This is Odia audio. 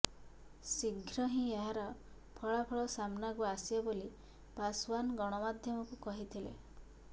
ଶିଘ୍ର ହିଁ ଏହାର ଫଳାଫଳ ସାମନାକୁ ଆସିବ ବୋଲି ପାଶୱାନ ଗଣମାଧ୍ୟମକୁ କହିଥିଲେ